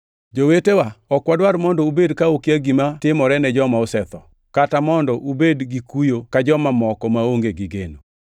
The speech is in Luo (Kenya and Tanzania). Jowetewa, ok wadwar mondo ubed ka ukia gima timore ne joma osetho, kata mondo ubed gi kuyo ka joma moko, maonge gi geno.